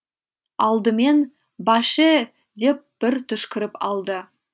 алдымен баше деп бір түшкіріп алды